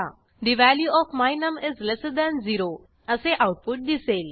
the value of my num is lesser than 0 असे output दिसेल